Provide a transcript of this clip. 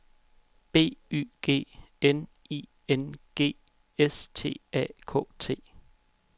B Y G N I N G S T A K T